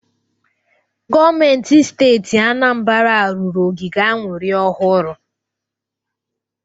Gọọmentị Steeti Anambara rụrụ ogige aṅụrị ọhụrụ.